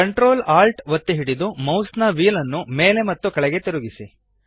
ctrl alt ಒತ್ತಿ ಹಿಡಿದು ಮೌಸ್ನ ವ್ಹೀಲ್ ನ್ನು ಮೇಲೆ ಮತ್ತು ಕೆಳಗೆ ತಿರುಗಿಸಿ